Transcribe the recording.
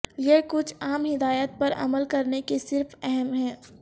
یہ کچھ عام ہدایات پر عمل کرنے کی صرف اہم ہے